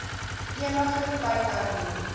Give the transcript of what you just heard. eniger tyd hernu